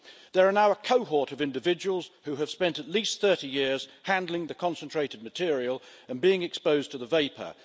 There are now a cohort of individuals who have spent at least 30 years handling the concentrated material and being exposed to the vapour.